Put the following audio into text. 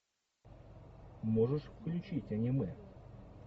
можешь включить аниме